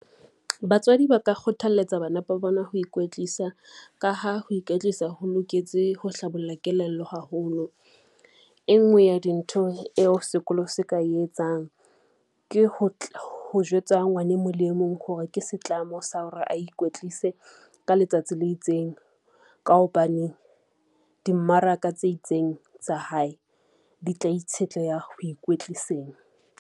Batswadi ba ka kgothalletsa bana ba bona ho ikwetlisa ka ha ho ikwetlisa ho loketse ho hlabolla kelello haholo. E ngwe ya dintho eo sekolo se ka etsang ke ho jwetsa ngwane mong le e mong hore ke setlamo sa hore a ikwetlise ka letsatsi le itseng. Ka hobane dimmaraka tse itseng tsa hae di tla itshetleha ho ikwetliseng.